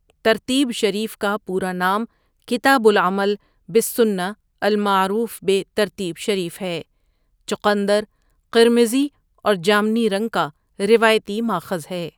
ترتیب شریف کا پورا نام کتاب العمل بالسنّۃالمعروف بہٖ ترتیب شریف ہے چقندر قرمزی اور جامنی رنگ کا روایتی ماخذ ہے۔